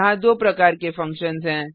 यहाँ दो प्रकार के फंक्शन्स हैं